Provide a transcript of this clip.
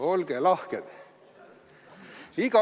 Olge lahked!